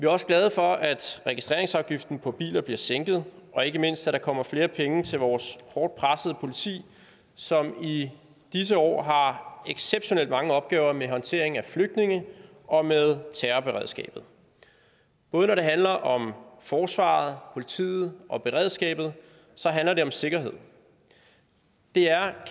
også glade for at registreringsafgiften på biler bliver sænket og ikke mindst at der kommer flere penge til vores hårdt pressede politi som i disse år har exceptionelt mange opgaver med håndtering af flygtninge og med terrorberedskabet både når det handler om forsvaret politiet og beredskabet handler det om sikkerhed det er